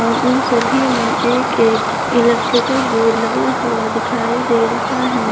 उन सभी में एक एक इलेक्ट्रिकल बोर्ड लगा हुआ दिखाई दे रहा है।